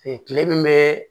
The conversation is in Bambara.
kile min bɛ